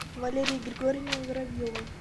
валерии григорьевне воробьевой